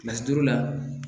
Kilasi duuru la